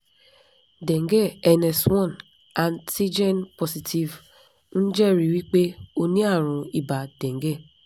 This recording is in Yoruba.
dengue ns one antigen positive ń jẹ́rìí wí pé o ní àrùn ibà dengue